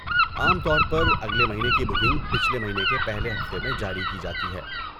عام طور پر اگلے مہینے کی بکنگ پچھلے مہینے کے پہلے ہفتے میں جاری کی جاتی ہے۔